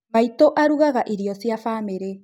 Maitũ arũgaga iro cia bamĩrĩ